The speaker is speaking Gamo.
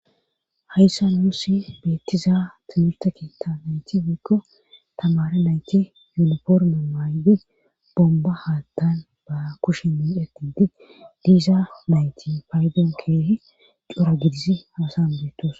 hayssa nuusi beettiza timirta keetta nayti wiikko tamare nayti yunoforma maaydi bomba haattan ba kushi nietidi diiza nayti paydoon keehi cora gidisi haasan beettosona